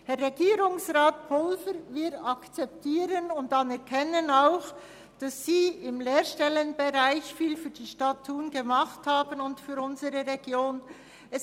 Herr Regierungsrat Pulver, wir akzeptieren und anerkennen auch, dass Sie im Lehrstellenbereich viel für die Stadt Thun und für unsere Region getan haben.